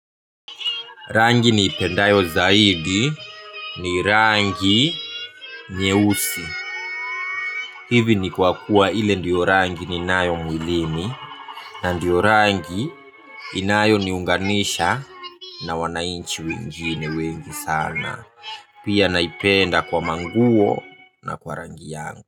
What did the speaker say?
Rangi niipendayo zaidi ni rangi nyeusi. Hivi ni kwa kuwa ile ndio rangi ninayo mwilini na ndio rangi inayoniunganisha na wananchi wengine wengi sana. Pia naipenda kwa manguo na kwa rangi yangu.